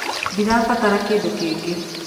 Ndĩrabatara kĩndũ kĩngĩ.